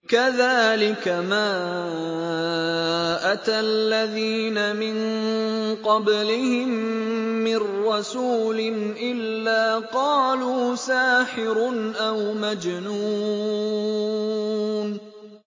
كَذَٰلِكَ مَا أَتَى الَّذِينَ مِن قَبْلِهِم مِّن رَّسُولٍ إِلَّا قَالُوا سَاحِرٌ أَوْ مَجْنُونٌ